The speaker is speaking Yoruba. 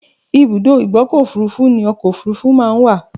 Ìbùdó ìgbọ́kọ̀ òfurufú ni ọkọ òfurufú máa ńwà.